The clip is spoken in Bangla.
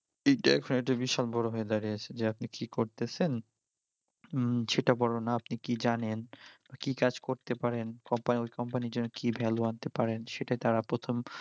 এইটা এখন একটা বিশাল বড়ো হয়ে দাঁড়িয়েছে যে আপনি কি করতেছেন হম সেটা বড়ো না আপনি কি জানেন বা কি কাজ করতে পারেন কোম্পানির ওঁই কোম্পানির জন্য কি value আনতে পারেন, সেইটা তারা প্রথম